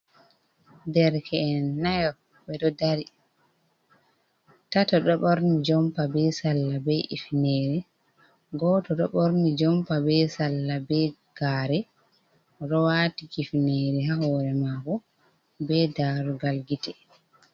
Derke’en nayo be do dari tata doborni jompa be salla, be ifinere goddo do borni jompa be salla be gare rowati kifinere ha hore maho be darugal gite.